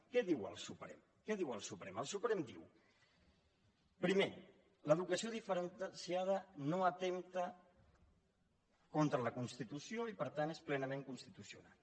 què diu el suprem què diu el suprem el suprem diu primer l’educació diferenciada no atempta contra la constitució i per tant és plenament constitucional